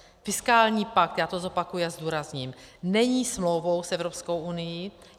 Fiskální pakt - já to zopakuji a zdůrazním - není smlouvou s Evropskou unií.